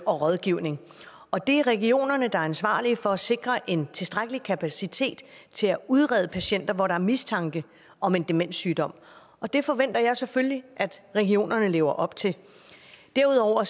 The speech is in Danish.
og rådgivning og det er regionerne der er ansvarlige for at sikre en tilstrækkelig kapacitet til at udrede patienter hvor der er mistanke om en demenssygdom og det forventer jeg selvfølgelig at regionerne lever op til derudover